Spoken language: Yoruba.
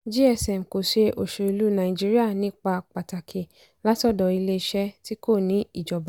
gsm kò ṣe òṣèlú nàìjíríà nípa pàtàkì látọ̀dọ̀ iléeṣẹ́ tí kò ní ìjọba.